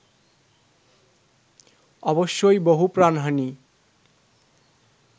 অবশ্যই বহু প্রাণহানি